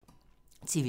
TV 2